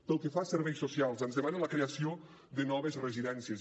pel que fa a serveis socials ens demana la creació de noves residències